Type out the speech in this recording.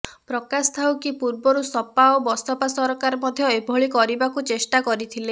ପ୍ରକାଶ ଥାଉ କି ପୂର୍ବରୁ ସପା ଓ ବସପା ସରକାର ମଧ୍ୟ ଏଭଳି କରିବାକୁ ଚେଷ୍ଟା କରିଥିଲେ